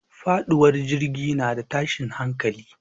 Faɗuwar jirgi na da tashin hankali.